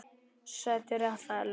Settur réttur, það er lög.